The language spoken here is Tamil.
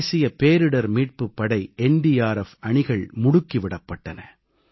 தேசிய பேரிடர் மீட்புப் படை அணிகள் முடுக்கி விடப்பட்டன